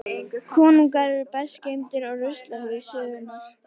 Konungar eru best geymdir á ruslahaug sögunnar.